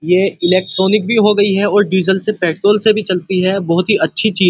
ये इलेक्ट्रॉनिक भी हो गयी है और डीजल से पेट्रोल से भी चलती है बहौत ही अच्छी चीज --